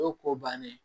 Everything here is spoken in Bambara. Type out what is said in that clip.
O ye ko bannen